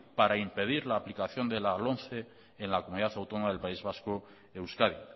para impedir la aplicación de la lomce en la comunidad autónoma del país vasco euskadi